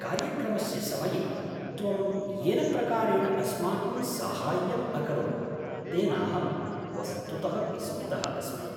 कार्यक्रमस्य समये त्वं येन प्रकारेण अस्माकं साहाय्यं अकरोत्, तेनाहं वस्तुतः विस्मितः अस्मि।